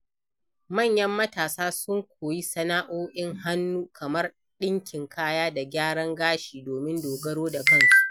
Manyan matasa sun koyi sana'o'in hannu kamar ɗinkin kaya da gyaran gashi domin dogaro da kansu.